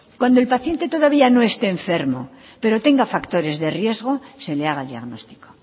cuando el paciente todavía no esté enfermo pero tenga factores de riesgo se le haga diagnóstico